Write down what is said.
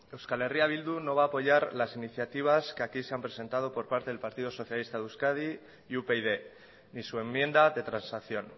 euskal herria bildu no va a apoyar las iniciativas que aquí se han presentado por parte del partido socialista de euskadi y upyd ni su enmienda de transacción